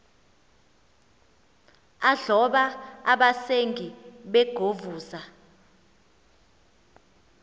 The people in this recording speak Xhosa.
adloba abasengi begovuza